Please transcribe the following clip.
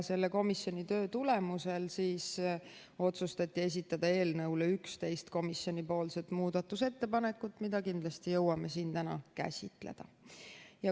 Komisjoni töö tulemusel otsustati esitada eelnõu kohta 11 komisjoni muudatusettepanekut, mida kindlasti jõuame siin täna käsitleda.